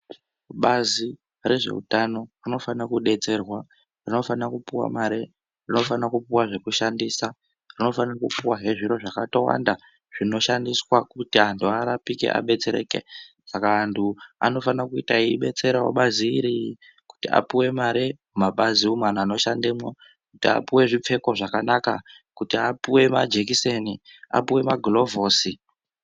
Bazi rezveutano rinofanira kudetserwa, rinofanira kupuwa mare, rinofanira kupuwa zvekushandisa rinofanira kupuwa hee zviro zvakatowanda zvinoshandiswa kuti antu arapike abetsereke. Saka antu anofanira kuita eibetserawo bazi iri kuti apuwe mare mumapazi umu anhu anoshandemwo, kuti apuwe zvipfeko zvakanaka , kuti apuwe majekiseni, apuwe magirivhosi.